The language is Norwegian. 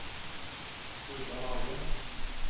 Sturla Hagen